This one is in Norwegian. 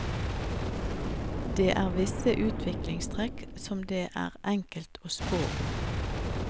Det er visse utviklingstrekk som det er enkelt å spå om.